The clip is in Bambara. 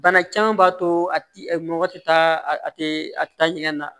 Bana caman b'a to a ti mɔgɔ tɛ taa a tɛ a tɛ taa ɲɛgɛn na